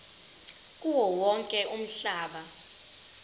kuwo wonke umhlaba